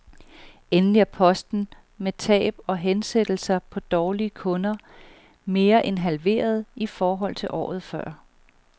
Endelig er posten med tab og hensættelser på dårlige kunder mere end halveret i forhold til året før.